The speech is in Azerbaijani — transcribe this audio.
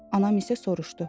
Anam isə soruşdu: